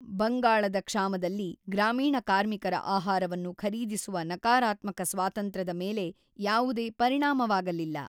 ಬಂಗಾಳದ ಕ್ಷಾಮದಲ್ಲಿ, ಗ್ರಾಮೀಣ ಕಾರ್ಮಿಕರ ಆಹಾರವನ್ನು ಖರೀದಿಸುವ ನಕಾರಾತ್ಮಕ ಸ್ವಾತಂತ್ರ್ಯದ ಮೇಲೆ ಯಾವುದೇ ಪರಿಣಾಮವಾಗಲಿಲ್ಲ.